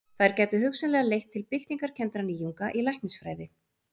þær gætu hugsanlega leitt til byltingarkenndra nýjunga í læknisfræði